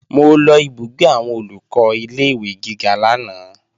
Mo lọ ìbúgbé àwọn Olùkọ́ ilé-ìwé gíga lánàá